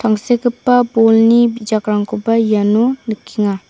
tangsekgipa bolni bijakrangkoba iano nikenga.